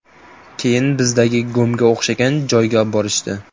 Keyin bizdagi GOMga o‘xshagan joyga oborishdi.